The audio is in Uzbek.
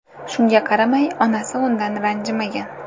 Shunga qaramay, onasi undan ranjimagan.